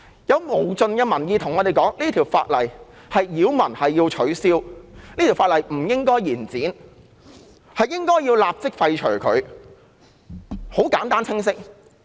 有無盡的民意告訴我們這項附屬法例擾民，要取消，亦不應延展它的修訂期限，應予立即廢除，很簡單清晰。